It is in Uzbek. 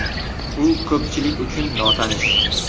U ko‘pchilik uchun notanish.